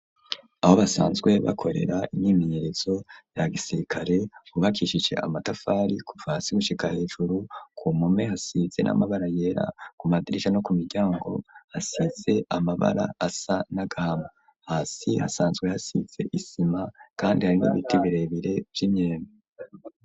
Aho basanzwe bakorera imyimenyerezo ya gisirikare hubakishise amatafari kuva hasi gushika hejuru, ku mpome hasize n'amabara yera, ku madirisa no ku miryango hasize amabara asa n'agahama hasi hasanzwe hasize isima kandi harimwo ibiti birebire vy'imyembe.